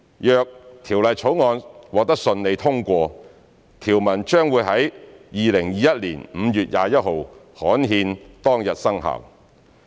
若《條例草案》順利獲得通過，條文將於2021年5月21日刊憲當日生效。